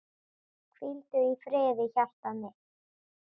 Hvíldu í friði hjartað mitt.